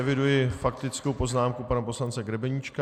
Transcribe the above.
Eviduji faktickou poznámku pana poslance Grebeníčka.